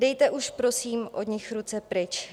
Dejte už prosím od nich ruce pryč.